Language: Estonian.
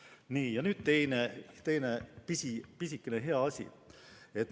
Nii, ja nüüd teine pisikene hea asi.